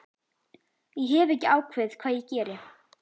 Ég hef ekki ákveðið hvað ég geri